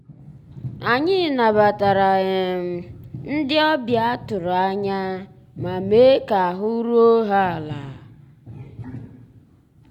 ànyị́ nabàtàrà um ndị́ ọ̀bịá tụ̀rụ̀ ànyá má meé ká àhụ́ rúó há àlà.